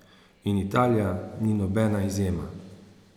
In Italija ni nobena izjema.